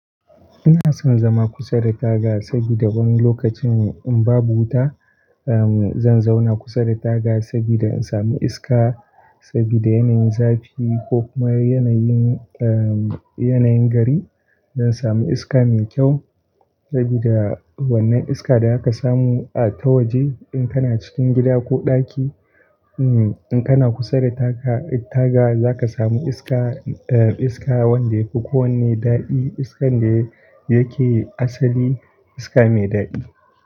Ina son zama kusa da taga, saboda wani lokacin in babu wuta zan zauna kusa da taga saboda in sami iska. Saboda yanayin zafi ko kuma yanayin gari zan samu iska mai kyau. Saboda wannan iska da za ka samu a, ta waje in kana cikin gida ko ɗaki in kana kusa da taga za ka sami iska wanda yafi kowane daɗi, iskan da yake asali, iska mai daɗi.